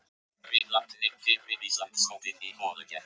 Riðlarnir fyrir Íslandsmótið í holukeppni